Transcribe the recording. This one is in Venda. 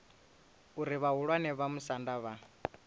uri vhahulwane vha musanda vha